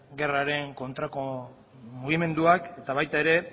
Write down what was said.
gerraren kontrako mugimenduak eta baita ere